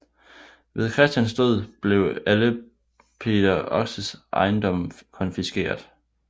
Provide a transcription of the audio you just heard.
Ved Christians død blev alle Peder Oxes ejendomme konfiskeret